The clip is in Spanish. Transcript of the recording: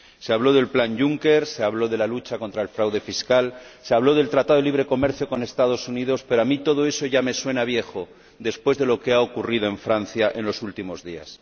Se habló del plan Juncker, de la lucha contra el fraude fiscal, del Tratado de Libre Comercio con los Estados Unidos, pero a mí todo eso ya me suena a viejo después de lo que ha ocurrido en Francia en los últimos días.